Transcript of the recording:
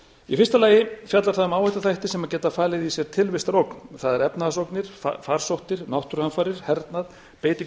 í fyrsta lagi fjalla það um áhættuþætti sem gæti falið í sér tilvistarógn það er efnahagsógnir farsóttir náttúruhamfarir hernað beitingu